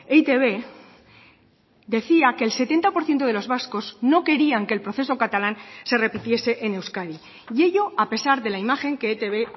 e i te be decía que el setenta por ciento de los vascos no querían que el proceso catalán se repitiese en euskadi y ello a pesar de la imagen que etb